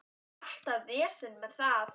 Alltaf vesen með það.